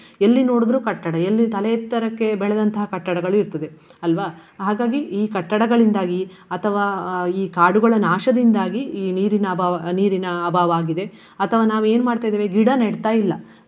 ಎಲ್ಲಿ ನೋಡಿದ್ರು ಕಟ್ಟಡ ಎಲ್ಲಿ ತಲೆ ಎತ್ತರಕ್ಕೆ ಬೆಳೆದಂತಹ ಕಟ್ಟಡಗಳು ಇರ್ತದೆ ಅಲ್ವಾ. ಹಾಗಾಗಿ ಈ ಕಟ್ಟಡಗಳಿಂದಾಗಿ ಅಥವಾ ಈ ಕಾಡುಗಳ ನಾಶದಿಂದಾಗಿ ಈ ನೀರಿನ ಅಭಾವ ನೀರಿನ ಅಭಾವ ಆಗಿದೆ. ಅಥವಾ ನಾವು ಏನು ಮಾಡ್ತಾ ಇದ್ದೇವೆ ಗಿಡ ನೆಡ್ತಾ ಇಲ್ಲ.